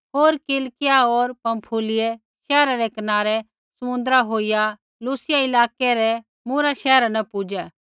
होर किलिकिया होर पँफूलियै शैहरा रै कनारै समुन्द्रा होईया लूसियै इलाकै रै री मूरा शैहरा न पुज़ै